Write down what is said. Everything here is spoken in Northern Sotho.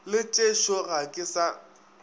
le tšešo ga ke sa